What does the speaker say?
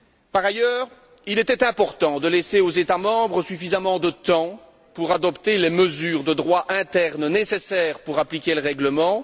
Par ailleurs, il était important de laisser aux États membres suffisamment de temps pour adopter les mesures de droit interne nécessaires à l'application du règlement.